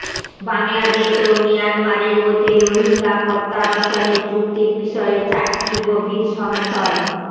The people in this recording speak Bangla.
বাংলাদেশ ও মিয়ানমারের মধ্যে রোহিঙ্গা প্রত্যাবাসনের চুক্তির বিষয়ে চারটি গভীর সংশয়